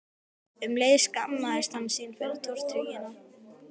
Um leið skammaðist hann sín fyrir tortryggnina.